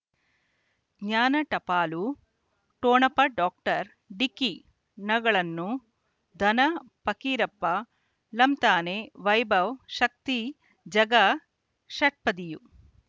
ಜ್ಞಾನ ಟಪಾಲು ಠೊಣಪ ಡಾಕ್ಟರ್ ಢಿಕ್ಕಿ ಣಗಳನು ಧನ ಪಕೀರಪ್ಪ ಳಂತಾನೆ ವೈಭವ್ ಶಕ್ತಿ ಝಗಾ ಷಟ್ಪದಿಯ